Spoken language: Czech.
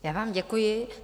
Já vám děkuji.